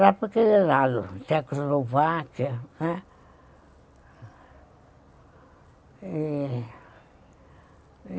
Lá para aquele lado, Checoslováquia.